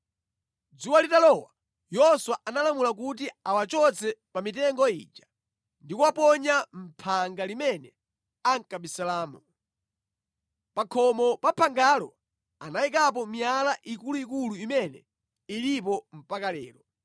Dzuwa litalowa, Yoswa analamula kuti awachotse pa mitengo ija ndi kuwaponya mʼphanga limene ankabisalamo. Pa khomo pa phangalo anayikapo miyala ikuluikulu imene ilipo mpaka lero.